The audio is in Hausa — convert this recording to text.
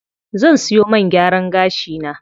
Zan siyo man gyaran gashi na.